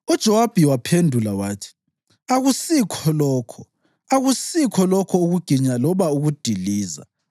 UJowabi waphendula wathi, “Akusikho lokho! Akusikho lokho ukuginya loba ukudiliza!